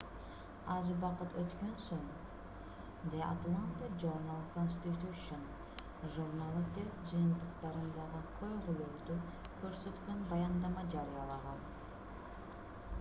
аз убакыт өткөн соң the atlanta journal-constitution журналы тест жыйынтыктарындагы көйгөйлөрдү көрсөткөн баяндама жарыялаган